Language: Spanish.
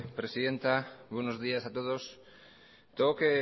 presidenta buenos días a todos tengo que